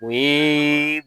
O yeee